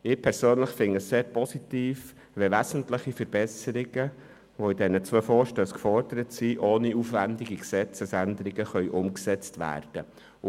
Ich persönlich finde es sehr positiv, wenn wesentliche Verbesserungen, wie in diesen beiden Vorstössen gefordert, ohne aufwändige Gesetzesänderungen umgesetzt werden können.